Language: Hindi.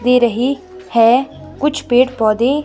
दे रही है कुछ पेड़ पौधे--